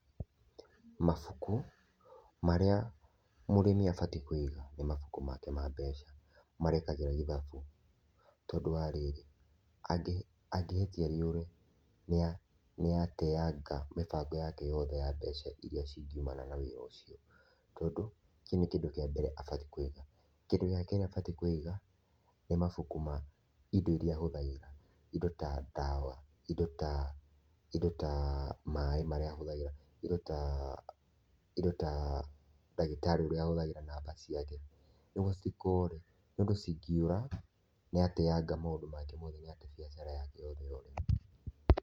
Mabũku marĩa mũrĩmi abatĩe kũiga nĩ mabũkũ make ma mbeca marĩa ekagĩra ithabu tondũ wa rĩrĩ angĩhĩtia rĩure nĩateanga mĩbango yake yothe ya mbeca ĩrĩa cingiumana na wĩra ucio tondũ kĩu nĩ kĩndũ kia mbere abatie kũiga. Kĩndũ gĩa kerĩ abatie kũiga nĩ mabuku ma indo iria ahũthagĩra indo ta ndawa indo ta maĩĩ marĩa ahũthagĩra indo ta ndagĩtarĩ ũrĩa ahũthagíĩa namba ciake nĩgũo citikore nĩũndũ cingĩũra nĩatenaga maũndũ make mothe nĩate biacara yake yothe yothe.